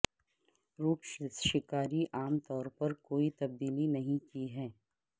route شکاری عام طور پر کوئی تبدیلی نہیں کی ہے